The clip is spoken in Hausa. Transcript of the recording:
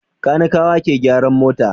Kanikawa ke gyaran mota.